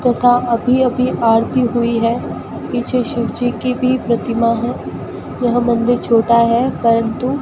तथा अभी अभी आरती हुई है पीछे शिवजी की भी प्रतिमा है यह मंदिर छोटा है परंतु --